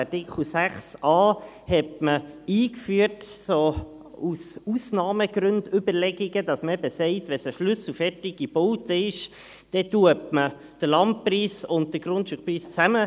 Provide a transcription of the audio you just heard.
Artikel 6a hatte man aus Ausnahmegrund-Überlegungen eingeführt, indem man eben sagte, wenn es ein schlüsselfertiger Bau sei, dann besteuere man den Landpreis und den Grundstückpreis zusammen.